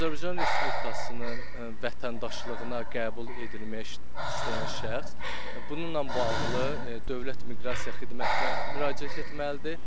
Azərbaycan Respublikasının vətəndaşlığına qəbul edilmək istəyən şəxs bununla bağlı Dövlət Miqrasiya Xidmətinə müraciət etməlidir.